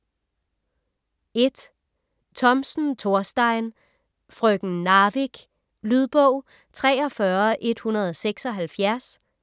Thomsen, Thorstein: Frøken Narvik Lydbog 43176